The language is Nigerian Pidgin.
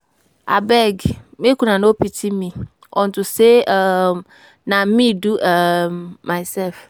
Abeg make una no pity me unto say um na me do um myself